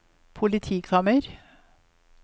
politikammer